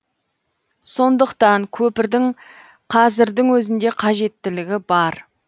сондықтан көпірдің қазірдің өзінде қажеттілігі бар